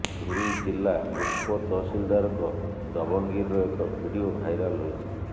ପୁରୀ ଜିଲ୍ଲୀ ଗୋପ ତହସିଲଦାରଙ୍କ ଦବଙ୍ଗଗିରିର ଏକ ଭିଡିଓ ଭାଇରାଲ ହୋଇଛି